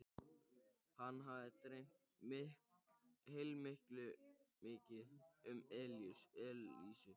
Hann hafði dreymt heilmikið um Elísu.